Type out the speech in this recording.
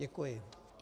Děkuji.